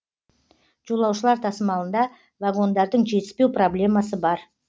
жолаушылар тасымалында вагондардың жетіспеу проблемасы бар